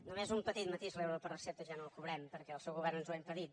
només un petit matís l’euro per recepta ja no el cobrem perquè el seu govern ens ho ha impedit